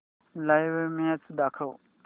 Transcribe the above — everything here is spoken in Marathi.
लाइव्ह मॅच दाखव